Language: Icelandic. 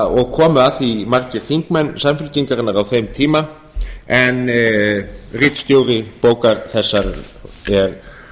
og komu að því margir þingmenn samfylkingarinnar á þeim tíma en ritstjóri bókar þessarar er